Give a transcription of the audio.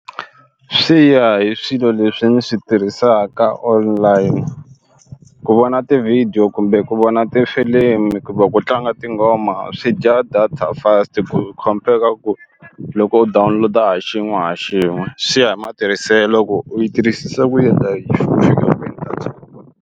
Swi ya hi swilo leswi ndzi swi tirhisaka online ku vona ti-video kumbe ku vona tifilimi ku va ku tlanga tinghoma swi dya data fast ku khompera ku loko u download-a ha xin'we ha xin'we swi ya hi matirhiselo ku u yi tirhisisa ku yini .